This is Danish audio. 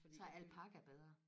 så er alpaca bedre